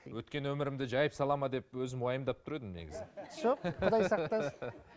өткен өмірімді жайып салады ма деп өзім уайымдап тұр едім негізі жоқ құдай сақтасын